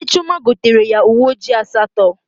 Nne Chioma gotere ya uwe ojii asatọ